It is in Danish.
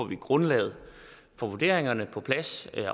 vi grundlaget for vurderingerne på plads